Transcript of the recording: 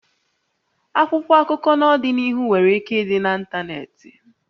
Akwụkwọ akụkọ n'ọdịnihu nwere ike ịdị na ntanetị